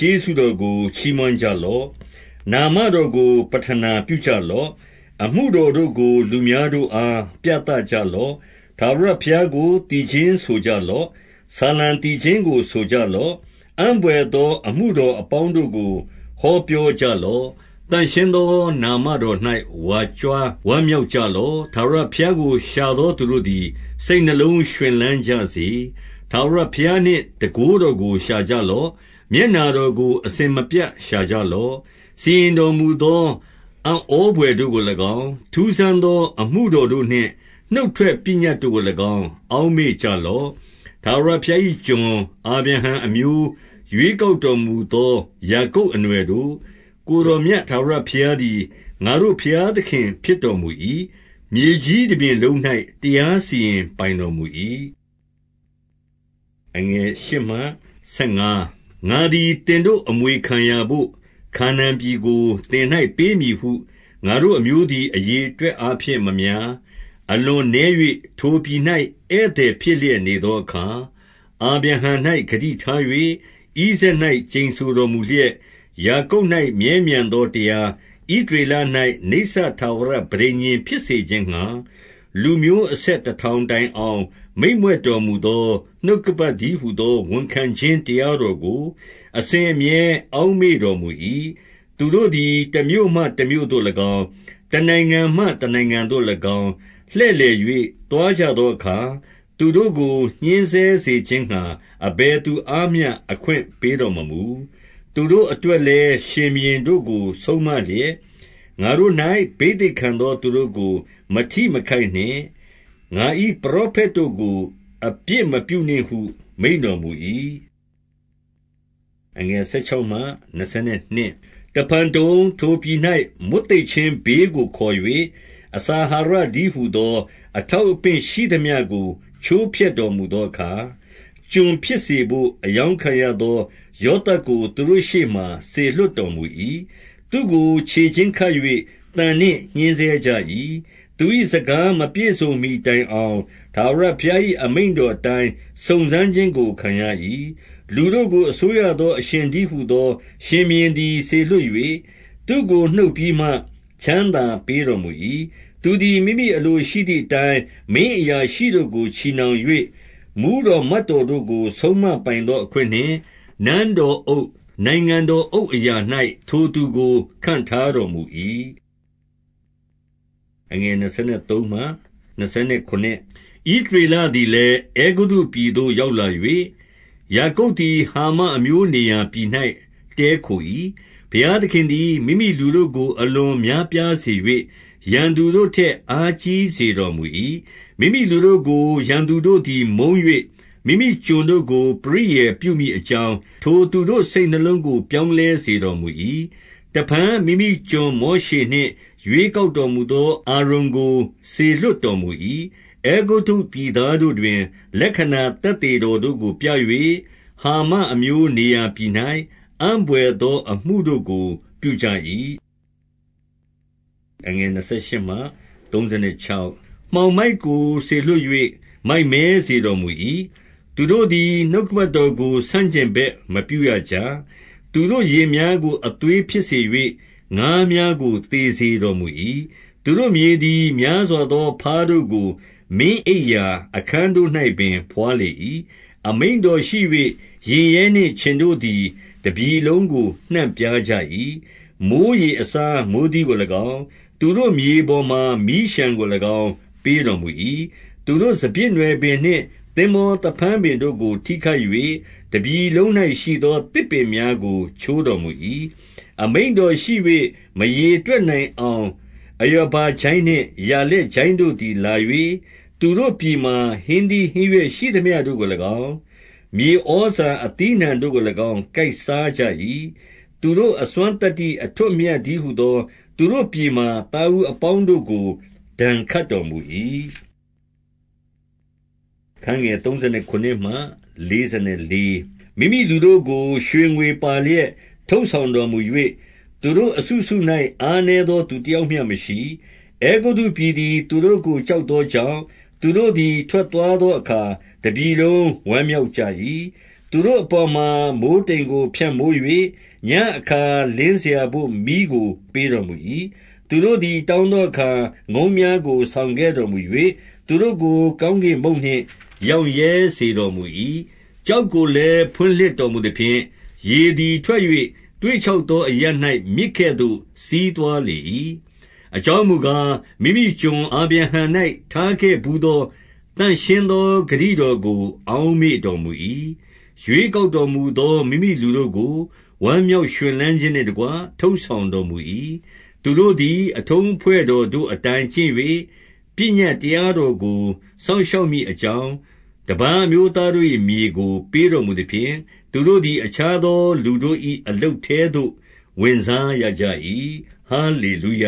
ျေးဇူးတော်ကို ချီးမွမ်း ကြလော့။ နာမတော်ကို ပဌနာပြုကြလော့။ အမှုတော် တို့ကို လူများတို့အား ပြသကြလော့။ ထာဝရဘုရားကို သီချင်းဆိုကြလော့။ ဆာလံ သီချင်းကို ဆိုကြလော့။ အံ့ဘွယ်သော အမှုတော်အပေါင်း တို့ကို ဟောပြောကြလော့။ သန့်ရှင်းသောနာမတော်၌ ဝါကြွား ဝမ်းမြောက် ကြလော့။ ထာဝရဘုရားကို ရှာသောသူတို့သည် စိတ်နှလုံး ရွှင်လန်းကြစေ။ ထာဝရဘုရားနှင့် တန်ခိုးတော်ကို ရှာကြလော့။ မျက်နှာတော်ကို အစဉ်မပြတ် ရှာကြလော့။ စီရင်တော်မူသော အံ့ဩဘွယ်တို့ကို၎င်း၊ ထူးဆန်းသော အမှုတော်တို့နှင့် နှုတ်ထွက်ပညတ်တို့ကို၎င်း အောက်မေ့ကြလော့။ ထာဝရဘုရား၏ကျွန်အာဗြဟံအမျိုး၊ ရွေး ကောက်တော်မူသော ယာကုပ်အနွှယ်တို့၊ ကိုယ်တော်မြတ် ထာဝရဘုရားသည် ငါတို့ ဘုရားသခင်ဖြစ်တော်မူ၏။ မြေကြီးတပြင်လုံး၌ တရား စီရင်ပိုင်တော်မူ၏။ ငါသည်သင်တို့ အမွေခံရာဘို့ခါ နာန်ပြည်ကို သင်၌ပေးမည်ဟု ငါတို့အမျိုးသည် အရေအတွက် အားဖြင့် မများ၊ အလွန်နည်း၍ ထိုပြည်၌ ဧည့်သည် ဖြစ်လျက်နေသောအခါ၊ အာဗြဟံ၌ဂတိထား၍၊ ဣဇာက် ၌ ကျိန်ဆိုတော်မူလျက်၊ ယာကုပ်၌ မြဲမြံသောတရား၊ ဣသရေလ၌ နိစ္စထာဝရပဋိညာဉ်ဖြစ်စေခြင်းငှါ၊ လူမျိုး အဆက် တထောင်တိုင်အောင် မိန့်မြွက်တော်မူသော နှုတ်ကပတ်တည်းဟူသော ဝန်ခံခြင်းတရားတော်ကို အစဉ်အမြဲ အောက်မေ့တော်မူ၏။ သူတို့သည် တမြို့မှတမြို့သို့၎င်း၊တနိုင်ငံမှ တနိုင်ငံသို့၎င်း၊ လှည့်လည်၍ သွားကြသောအခါ၊ သူတို့ကို ညှဉ်းဆဲစေခြင်းငှါ အဘယ်သူအားမျှ အခွင့်ပေးတော်မမူ။ သူတို့အတွက်လည်းရှင်ဘုရင်တို့ကို ဆုံးမလျက်၊ ငါ့ထံ၌ ဘိသိတ်ခံသောသူတို့ကို မထိမခိုက်နှင့်။ ငါ၏ ပရောဖက်တို့ကို အပြစ်မပြုနှင့်ဟု မိန့်တော်မူ၏။ တဖန်တုံ၊ ထိုပြည်၌ မွတ်သိပ်ခြင်းဘေးကို ခေါ်၍၊ အစာအာဟာရတည်းဟူသော အထောက်အပင့် ရှိသမျှကို ချိုးဖျက်တော်မူသောအခါ၊ ကျွန်ဖြစ်စေဘို့ အရောင်းခံရသော ယောသပ် ကို သူတို့ရှေ့မှာ စေလွှတ်တော်မူ၏။ သူ့ကိုခြေချင်းခတ်၍ သံနှင့်ညှဉ်းဆဲကြ၏။ သူ၏စကား မပြည့်စုံမှီတိုင်အောင်၊ ထာဝရ ဘုရား၏ အမိန့်တော်အတိုင်း စုံစမ်းခြင်းကို ခံရ၏။ လူတို့ကို အစိုးရသော အရှင်တည်းဟူသော ရှင်ဘုရင်သည် စေလွှတ်၍ သူ့ကိုနှုတ်ပြီးမှ ချမ်းသာ ပေးတော်မူ၏။ သူသည် မိမိအလိုရှိသည်အတိုင်း မင်းအရာရှိ တို့ကို ချည်နှောင်၍၊ မှူးတော်မတ်တော်တို့ကို ဆုံးမပိုင် သော အခွင့်နှင့် နန်းတော်အုပ်၊ နိုင်ငံတော်အုပ်အရာ၌ ထိုသူကို ခန့်ထားတော်မူ၏။ ဣသရေလသည်လည်း အဲဂုတ္တုပြည်သို့ ရောက် လာ၍၊ ယာကုပ်သည် ဟာမအမျိုးနေရာပြည်၌ တည်းခို၏။ ဘုရားသခင်သည် မိမိလူတို့ကို အလွန်များပြား စေ၍၊ ရန်သူတို့ထက် အားကြီးစေတော်မူ၏။ မိမိလူတို့ကို ရန်သူတို့သည်မုန်း၍၊ မိမိကျွန်တို့ကို ပရိယာယ်ပြုမည် အကြောင်း၊ ထိုသူတို့ စိတ်နှလုံးကို ပြောင်းလဲစေတော် မူ၏။ တဖန်မိမိကျွန် မောရှေနှင့်ရွေးကောက်တော်မူသော အာရုန်ကို စေလွှတ်တော်မူ၏။ အဲဂုတ္တုပြည်သားတို့တွင်၊ လက္ခဏာသက်သေ တော်တို့ကိုပြ၍၊ ဟာမအမျိုးနေရာပြည်၌ အံ့ဘွယ်သော အမှုတို့ကို ပြုကြ၏။ မှောင်မိုက်ကိုစေလွှတ်၍၊ မိုက်မဲစေတော်မူ၏။ သူတို့သည် နှုတ်ကပတ်တော်ကို ဆန့်ကျင်ဘက်မပြုရကြ။ သူတို့ရေများကို အသွေးဖြစ်စေ၍၊ ငါးများကို သေစေတော်မူ၏။ သူတို့မြေသည် များစွာသော ဘားတို့ကို မင်းအိပ်ရာအခန်းတို့ ၌ပင်ဘွားလေ၏။ အမိန့်တော်ရှိ၍ ယင်ရဲနှင့်ခြင်တို့သည် တပြည် လုံးကို နှံ့ပြား ကြ၏။ မိုဃ်းရေအစား မိုဃ်းသီးကို၎င်း၊ သူတို့မြေပေါ် မှာ မီးလျှံကို၎င်း ပေးတော်မူ၏။ သူတို့စပျစ်နွယ်ပင်နှင့် သင်္ဘောသဖန်းပင်တို့ကို ထိခိုက်၍၊ တပြည်လုံး၌ရှိသော သစ်ပင်များကို ချိုးတော် မူ၏။ အမိန့်တော်ရှိ၍ မရေတွက်နိုင်အောင်၊ အရာ ဘကျိုင်းနှင့် ယာလက်ကျိုင်းတို့သည် လာ၍၊ သူတို့ပြည်မှာ ဟင်းသီးဟင်းရွက်ရှိသမျှတို့ကို၎င်း၊ မြေဩဇာ အသီးအနှံတို့ကို၎င်းကိုက်စားကြ၏။ သူတို့အစွမ်းသတ္တိ အထွဋ်အမြတ်တည်းဟူသော သူတို့ပြည်မှာ သားဦးအပေါင်းတို့ကို ဒဏ်ခတ်တော်မူ၏။ မိမိလူတို့ကို ရွှေငွေပါလျက် ထုတ်ဆောင်တော် မူ၍၊ သူတို့အစုစု၌ အားနည်းသော သူတယောက်မျှမရှိ။ အဲဂုတ္တုပြည်သည် သူတို့ကို ကြောက်သော ကြောင့်၊ သူတို့သည် ထွက်သွားသောအခါ တပြည်လုံး ဝမ်းမြောက်၏။ သူတို့အပေါ်မှာ မိုဃ်းတိမ်ကိုဖြန့်မိုး၍၊ ညဉ့်အခါ လင်းစရာဘို့ မီးကိုပေးတော်မူ၏။ သူတို့သည် တောင်းသောအခါ ငုံးများကို ဆောင်ခဲ့တော်မူ၍၊ သူတို့ကို ကောင်းကင်မုန့်နှင့် ရောင့်ရဲ စေတော်မူ၏။ ကျောက်ကိုလည်း ဖွင့်လှစ်တော်မူသဖြင့်၊ ရေ သည် ထွက်၍ သွေ့ခြောက်သောအရပ်၌ မြစ်ကဲ့သို့စီးသွား လေ၏။ အကြောင်းမူကား၊ မိမိကျွန် အာဗြဟံ၌ ထားခဲ့ ဘူးသော သန့်ရှင်းသော ဂတိတော်ကို အောက်မေ့တော် မူ၏။ ရွေးကောက်တော်မူသော မိမိလူတို့ကို ဝမ်း မြောက်ရွှင်လန်းခြင်းနှင့်တကွ ထုတ်ဆောင်တော်မူ၏။ သူတို့သည် အထုံးအဖွဲ့တော်တို့အတိုင်း ကျင့်၍၊ ပညတ်တရားတော်ကို စောင့်ရှောက်မည်အကြောင်း၊ တပါးအမျိုးသားတို့၏မြေကို ပေးတော်မူသဖြင့်၊ သူတို့ သည် အခြားသောလူတို့၏ အလုပ်ထဲသို့ ဝင်စားရကြ၏။ ဟာလေလုယ